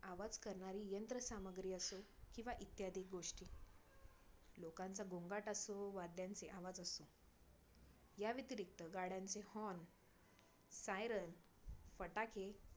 आवाज करणारी यंत्र सामग्री असो किंवा इत्यादि गोष्टी लोकांचा गोंगाट असो वा त्यांचे आवाज असो. या व्यतिरिक्त गाड्यांचे horn, siren फटाके